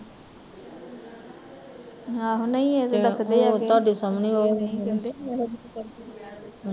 ਆਹੋ ਨਹੀਂ ਏਹ ਤਾਂ ਤੱਕਦੇ ਐਗੇ